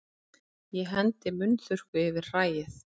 Ég hendi munnþurrku yfir hræið.